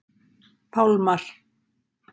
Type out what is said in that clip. Pálmar